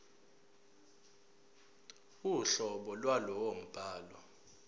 uhlobo lwalowo mbhalo